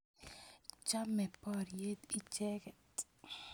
Chame poryet icheket